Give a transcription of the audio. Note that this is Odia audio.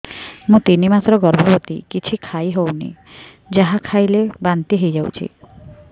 ମୁଁ ତିନି ମାସର ଗର୍ଭବତୀ କିଛି ଖାଇ ହେଉନି ଯାହା ଖାଇଲେ ବାନ୍ତି ହୋଇଯାଉଛି